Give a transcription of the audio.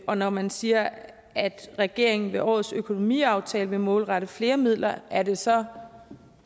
og når man siger at regeringen ved årets økonomiaftale vil målrette flere midler er det så